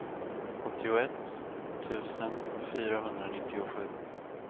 åttioett tusen fyrahundranittiosju